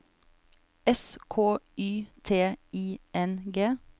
S K Y T I N G